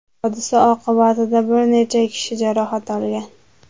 Hodisa oqibatida bir necha kishi jarohat olgan.